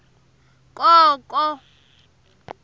nkonko